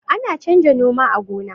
ana canja noma a gona